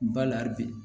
Ba la bi